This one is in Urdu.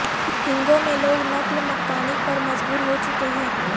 ہنگو میں لوگ نقل مکانی پر مجبور ہو چکے ہیں